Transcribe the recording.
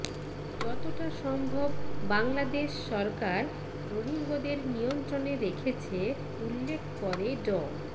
যতোটা সম্ভব বাংলাদেশ সরকার রোহিঙ্গদের নিয়ন্ত্রণে রেখেছে উল্লেখ করে ড